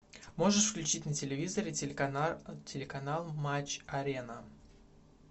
можешь включить на телевизоре телеканал матч арена